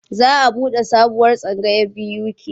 Za a buɗe sabuwar tsangaya a BUK.